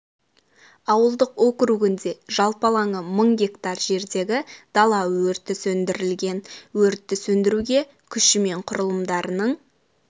ауылдық округінде жалпы алаңы мың га жердегі дала өрті сөндірілген өртті сөндіруге күші мен құрылымдарының